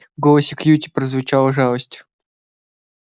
в голосе кьюти прозвучала жалость